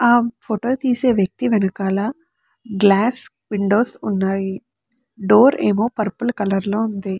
ఆ ఫోటో తీసే వ్యక్తి వెనకాల గ్లాస్ విండోస్ ఉన్నాయి డోర్ ఏమో పర్పుల్ కలర్ లో ఉంది.